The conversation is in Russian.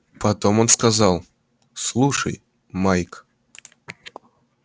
потом он сказал слушай майк